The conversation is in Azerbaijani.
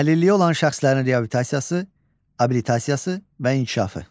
Əlilliyi olan şəxslərin reabilitasiyası, abilitasiyası və inkişafı.